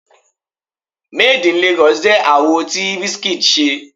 Made In Lagos jẹ́ àwo tí Wizkid ṣe.